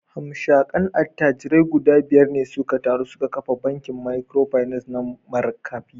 Hamshakan attajirai guda biyar ne suka taru suka kafa bankin Microfinance na Markafi